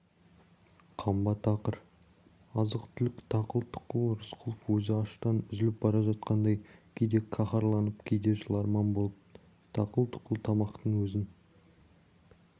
қамба тақыр азық-түлік тақұл-тұқыл рысқұлов өзі аштан үзіліп бара жатқандай кейде қаһарланып кейде жыларман болып тақыл-тұқыл тамақтың өзін